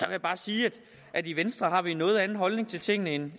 jeg bare sige at i venstre har vi en noget anden holdning til tingene end